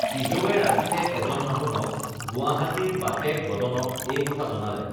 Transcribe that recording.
পিজৌৱে ৰাতিতে এজন মানুহক গুৱাহাটীৰ বাপেক বদনক এই কথা জনালে